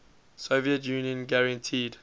soviet union guaranteed